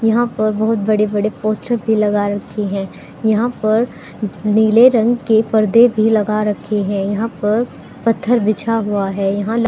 यहां पर बहुत बड़े बड़े पोस्टर भी लगा रखी है यहां पर नीले रंग के पर्दे भी लगा रखे हैं यहां पर पत्थर बिछा हुआ है यहां ल--